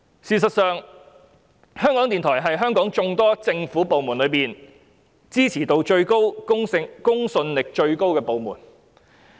"事實上，在香港眾多政府部門中，港台是支持度和公信力最高的部門。